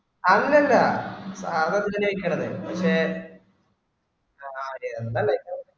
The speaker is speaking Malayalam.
അന്നൊല്ല അത് പഷേ